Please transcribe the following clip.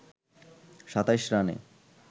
২৭ রানে